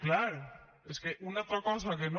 clar és que una altra cosa que no